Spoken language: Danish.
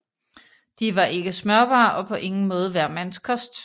De var ikke smørbare og på ingen måde hver mands kost